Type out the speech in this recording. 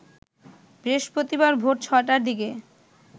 বৃহস্পতিবার ভোর ৬টার দিকে